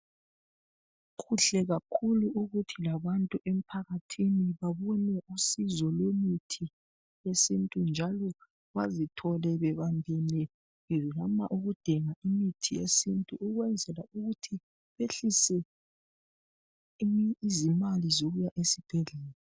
Kuhle kakhulu ukuthi labantu emphakathini babone usizo lwemithi yesintu, njalo bazithole bebambene. Bezama ukudinga imithi yesintu. Ukwenzela ukuthi behlise izimali zokuya esibhedlela.